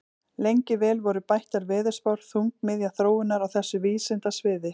Lengi vel voru bættar veðurspár þungamiðja þróunar á þessu vísindasviði.